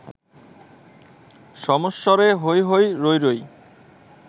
সমস্বরে হৈ হৈ রৈ রৈ